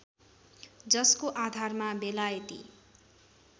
जसको आधारमा बेलायती